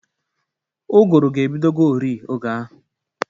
Ụgụrụ ga-ebidogori oge ahụ.